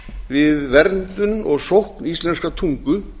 við verndun og sókn íslenskrar tungu